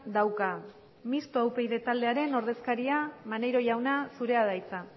dauka mistoa upyd taldearen ordezkaria maneiro jauna zurea da hitza